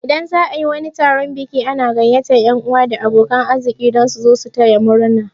Idan za'a yi wani taron biki ana gaiyatar yan 'uwa da abokan arziki dan su zo taya murna